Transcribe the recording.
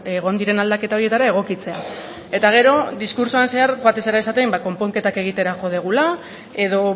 egon diren aldaketa horietara egokitzea eta gero diskurtsoan zehar joaten zara esaten konponketak egitera jo dugula edo